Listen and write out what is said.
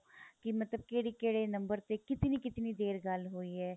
ਕੀ ਮਤਲਬ ਕਿਹੜੇ ਕਿਹੜੇ ਨੰਬਰ ਤੇ ਕਿਤਨੀ ਕਿਤਨੀ ਦੇਰ ਗੱਲ ਹੋਈ ਏ